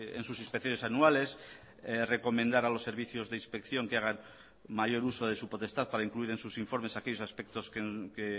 en sus inspecciones anuales recomendar a los servicios de inspección que hagan mayor uso de su potestad para incluir en sus informes aquellos aspectos que